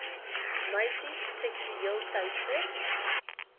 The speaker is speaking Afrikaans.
meisies seksueel teister